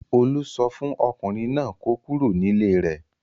Olú sọ fún ọkùnrin náà kó kúrò nílé rẹ̀.